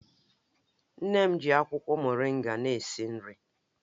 Nne m ji akwụkwọ moringa na-esi nri